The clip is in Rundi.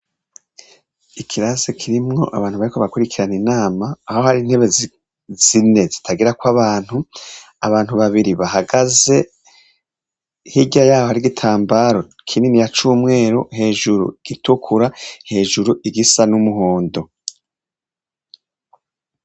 Ikirasi kirimwo abantu bariko barakwirikirana inama aho hari intebe zine zitagirako abantu, abantu babiri bahagaze hirya yaho hariho igitambaro kininiya cumweru hejuru gitukura, hejuru igisa n'umuhondo.